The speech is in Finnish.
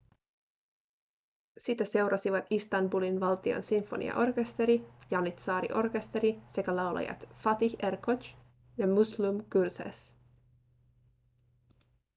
sitä seurasivat istanbulin valtion sinfoniaorkesteri janitsaariorkesteri sekä laulajat fatih erkoç ja müslüm gürses